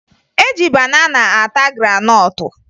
E ji banana ata granọtụ